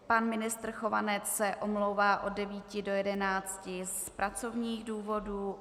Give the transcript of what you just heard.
Pan ministr Chovanec se omlouvá od 9 do 11 z pracovních důvodů.